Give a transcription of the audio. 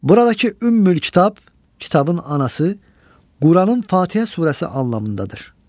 Buradakı ümmül kitab kitabın anası Quranın Fatihə surəsi anlamındadır.